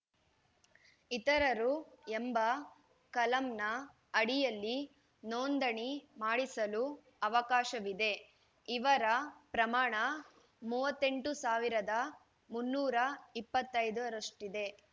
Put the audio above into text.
ಇತರರು ಎಂಬ ಕಲಂನ ಅಡಿಯಲ್ಲಿ ನೋಂದಣಿ ಮಾಡಿಸಲು ಅವಕಾಶವಿದೆ ಇವರ ಪ್ರಮಾಣ ಮೂವತ್ತ್ ಎಂಟು ಸಾವಿರದ ಮುನ್ನೂರ ಇಪ್ಪತ್ತ್ ಐದರಷ್ಟಿದೆ